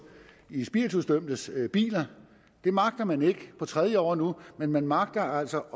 i spiritusdømtes biler det magter man ikke på tredje år nu men man magter altså